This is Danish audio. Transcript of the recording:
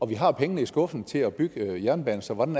vi har pengene i skuffen til at bygge jernbane så hvordan